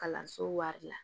Kalanso wari la